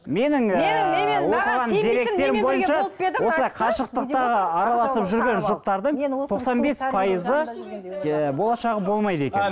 менің осылай қашықтықтағы араласып жүрген жұптардың тоқсан бес пайызы ыыы болашағы болмайды екен